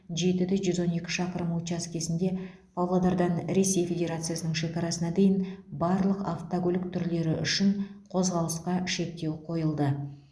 жеті де жүз он екі шақырым учаскесінде павлодардан ресей федерациясының шекарасына дейін барлық автокөлік түрлері үшін қозғалысқа шектеу қойылды